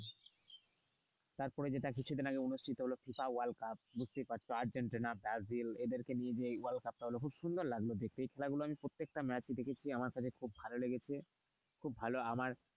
তারপর যেটা কিছুদিন আগে যেটা অনুষ্ঠিত হলো ফিফা ওয়ার্ল্ড কাপ বুঝতেই পারছো আর্জেন্টিনা ব্রাজিল এদেরকে নিয়ে যে ওয়ার্ল্ড কাপ টা হল খুব সুন্দর লাগলো দেখে এই খেলা গুলো প্রত্যেকটা ম্যাচ আমি দেখেছি আমার খুব ভালো লেগেছে খুব ভালো আমার।